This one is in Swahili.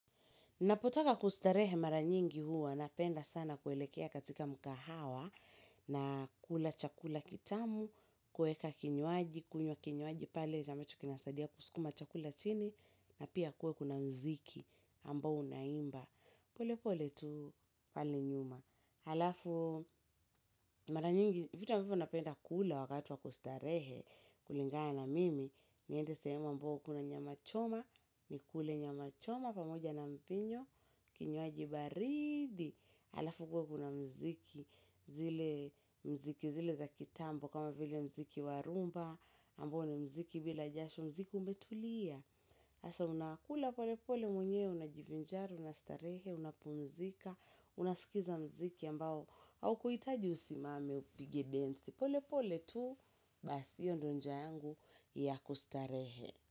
Napotoka kustarehe mara nyingi huwa, napenda sana kuelekea katika mkahawa, na kula chakula kitamu, kuweka kinywaji, kunywa kinywaji, pale za ambacho kinasaidia kusukuma chakula chini, na pia kuwe kuna muziki ambao unaimba. Pole pole tu pale nyuma. Alafu mara nyingi vitu ambavyo napenda kula wakati wa kustarehe kulingana na mimi, niende sehemu ambao kuna nyama choma. Nikule nyama choma pamoja na mpinyo, kinywaji baridi. Alafu ukuwe kuna muziki. Zile muziki zile za kitambo kama vile muziki wa rhumba ambao ni muziki bila jasho muziki umetulia. Sasa unakula pole pole mwenyewe unajivinjari, unastarehe unapumzika, unaskiza muziki ambao haukuhitaji usimame upige densi pole pole tu bas hiyo ndion njia yangu ya kustarehe.